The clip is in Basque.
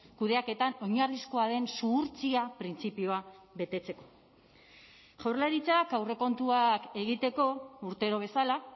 kudeaketan oinarrizkoa den zuhurtzia printzipioa betetzeko jaurlaritzak aurrekontuak egiteko urtero bezala